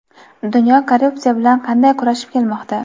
Dunyo korrupsiya bilan qanday kurashib kelmoqda?.